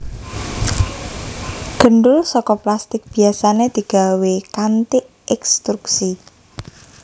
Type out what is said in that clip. Gendul saka plastik biyasané digawé kanthi ekstrusi